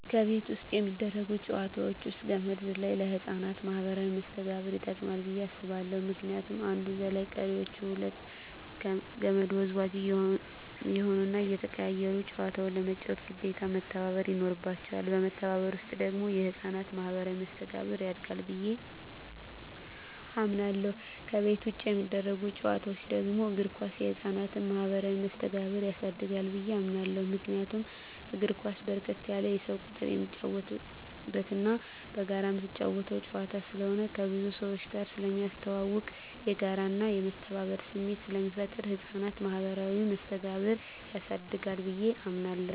ከቤት ውስጥ የሚደረጉ ጨዋታወች ውስጥ ገመድ ዝላይ ለህፃናት ማኀበራዊ መስተጋብር ይጠቅማ ብየ አስባለሁ ምክንያቱም አንዱ ዘላይ ቀሪወች ሁለቱ ከመድ ወዝዋዥ እየሆኑና እየተቀያየሩ ጨዋታውን ለመጫወት ግዴታ መተባበር ይኖርባቸዋል በመተባበር ውስጥ ደግሞ የህፃናት ማኋበራዊ መስተጋብር ያድጋል ብየ አምናለሁ። ከቤት ውጭ የሚደረጉ ጨዋታወች ደግሞ እግር ኳስ የህፃናትን ማህበራዊ መስተጋብር ያሳድጋል ብየ አምናለሁ። ምክንያቱም እግር ኳስ በርከት ያለ የሰው ቁጥር የሚጫወትበትና በጋራ ምትጫወተው ጨዋታ ስለሆነ ከብዙ ሰውጋር ስለሚያስተዋውቅ፣ የጋራና የመተባበር ስሜት ስለሚፈጥር የህፃናትን ማኀበራዊ መስተጋብር ያሳድጋል ብየ አምናለሁ።